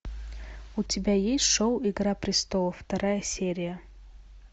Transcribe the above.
у тебя есть шоу игра престолов вторая серия